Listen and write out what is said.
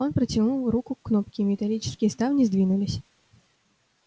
он протянул руку к кнопке и металлические ставни сдвинулись